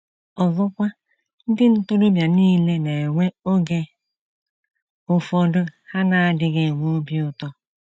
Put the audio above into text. * Ọzọkwa, ndị ntorobịa nile na - enwe oge ụfọdụ ha na - adịghị enwe obi ụtọ.